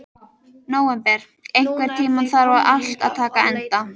Nóvember, einhvern tímann þarf allt að taka enda.